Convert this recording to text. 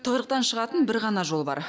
тығырықтан шығатын бір ғана жол бар